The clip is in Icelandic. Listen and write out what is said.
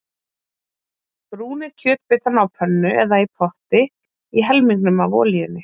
Brúnið kjötbitana á pönnu eða í potti í helmingnum af olíunni.